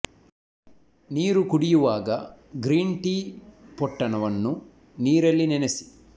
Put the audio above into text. ನೀರು ಕುಡಿಯುವಾಗ green tea ಪೊಟ್ಟಣ ವನ್ನು ನೀರಲ್ಲಿ ನೆನೆಸಿ